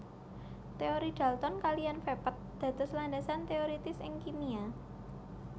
Teori dalton kaliyan vepet dados landasan teoiritis ing kimia